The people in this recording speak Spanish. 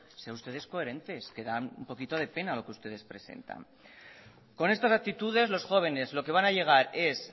sean ustedes coherentes que dan un poquito de pena lo que ustedes presentan con estas actitudes los jóvenes lo que van a llegar es